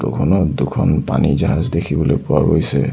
Photo খনত দুখন পানী জাহাজ দেখিবলৈ পোৱা গৈছে।